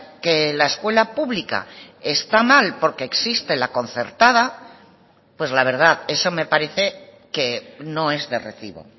que la escuela pública está mal porque existe la concertada pues la verdad eso me parece que no es de recibo